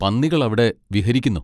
പന്നികൾ അവിടെ വിഹരിക്കുന്നു.